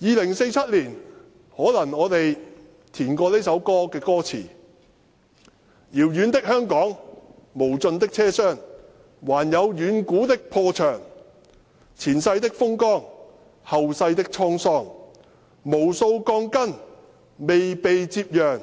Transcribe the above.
在2047年，可能我們會改編這首歌的歌詞為："遙遠的香港，無盡的車廂，還有遠古的破牆，前世的風光，後世的滄桑，無數鋼筋未被接壤，